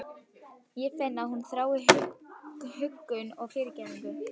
Ég finn að hún þráir huggun og fyrirgefningu.